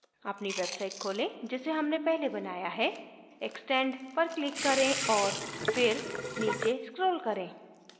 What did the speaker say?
अपनी website खोलें जिसे हमने पहले बनाया है extend पर click करें और फिर नीचे scroll करें